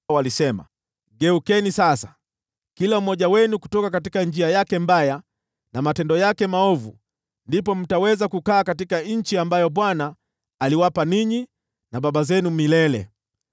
Walisema, “Geukeni sasa, kila mmoja wenu kutoka njia yake mbaya na matendo yake maovu, ndipo mtaweza kukaa katika nchi ambayo Bwana aliwapa ninyi na baba zenu milele.